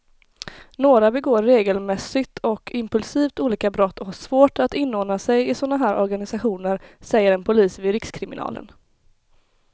Några begår regelmässigt och impulsivt olika brott och har svårt att inordna sig i såna här organisationer, säger en polis vid rikskriminalen.